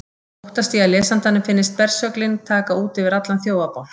Óttast ég að lesandanum finnist bersöglin taka út yfir allan þjófabálk.